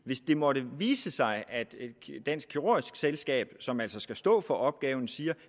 hvis det måtte vise sig at dansk kirurgisk selskab som altså skal stå for opgaven siger at